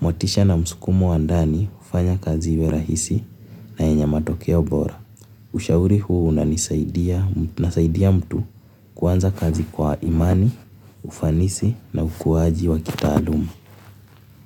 motisha na msukumo wa ndani hufanya kazi iwe rahisi na yenye matokeo bora. Ushauri huu unanisaidia, unasaidia mtu kuanza kazi kwa imani, ufanisi na ukuaji wa kitaaluma.